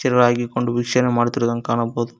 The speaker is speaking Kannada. ಇರೋ ಆಗಿಕೊಂಡು ವಿಷಯ ಮಾಡುತ್ತಿರುವಂತೆ ಕಾಣಬಹುದು.